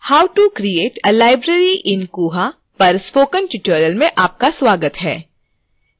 how to create a library in koha पर spoken tutorial में आपका स्वागत है